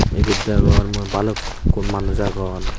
ibet degongor mui balukkun manuj agon.